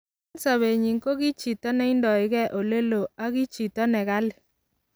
Eng sobenyi ki chito ne indoigei ole loo, ak ki chita ne kali.